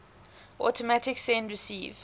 automatic send receive